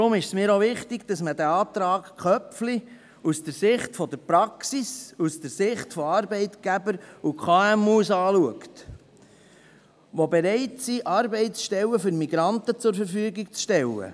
Deshalb ist es mir auch wichtig, dass wir den Antrag Köpfli aus Sicht der Praxis, aus Sicht der Arbeitgeber und KMU anschauen, welche bereit sind, Arbeitsstellen für Migranten zur Verfügung zu stellen.